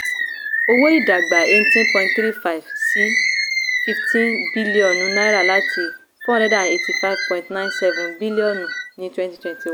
owó ii dàgbà eighteen point three five percent sí fifteen bíllíọ̀nù láti four hundred and eighty five point nine seven bíllíọ̀nù ní twenty twenty one.